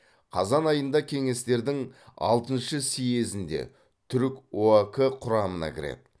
қазан айында кеңестердің алтыншы съезінде түрік оак құрамына кіреді